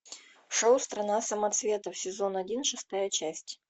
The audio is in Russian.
шоу страна самоцветов сезон один шестая часть